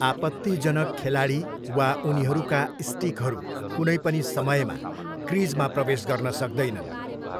आपत्तिजनक खेलाडी वा उनीहरूका स्टिकहरू कुनै पनि समयमा क्रिजमा प्रवेश गर्न सक्दैनन्।